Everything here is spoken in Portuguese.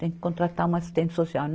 tem que contratar uma assistente social.